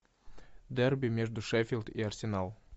дерби между шеффилд и арсенал